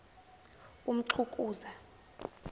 umxhukuza